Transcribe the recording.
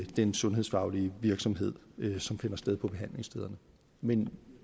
den sundhedsfaglige virksomhed som finder sted på behandlingsstederne men